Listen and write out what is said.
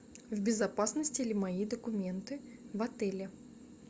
в безопасности ли мои документы в отеле